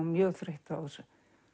mjög þreytt á þessu